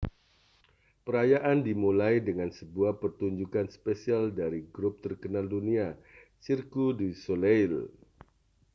perayaan dimulai dengan sebuah pertunjukan spesial dari grup terkenal dunia cirque du soleil